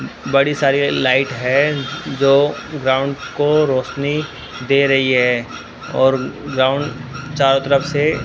बड़ी सारी लाइट है जो ग्राउंड को रोशनी दे रही है और ग्राउंड चारों तरफ से --